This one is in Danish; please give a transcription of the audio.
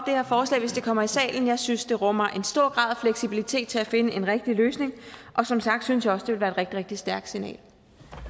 her forslag hvis det kommer i salen jeg synes at det rummer en stor grad af fleksibilitet til at finde en rigtig løsning og som sagt synes jeg også være et rigtig rigtig stærkt signal